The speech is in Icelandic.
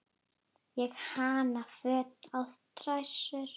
Ég hanna föt á dræsur.